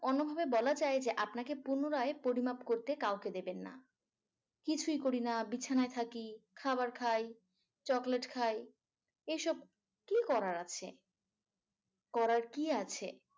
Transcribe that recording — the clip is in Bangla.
অন্যভাবে বলা যায় আপনাকে পুনরায় পরিমাপ করতে কাউকে দেবেন না। কিছুই করি না বিছানায় থাকি। খাবার খাই চকলেট খাই এসব কি করার আছে। করার কি আছে?